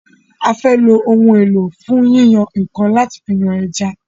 a fè ló Ohun èlò fún yíyan nǹkan là yán ejá.